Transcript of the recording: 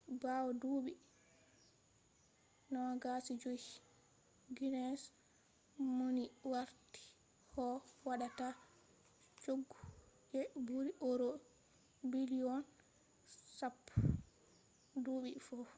bawo duubi 250 guinness mauni warti ko waddata choggu je buri euros biliyon 10 us$14.7 biliyon duubi fu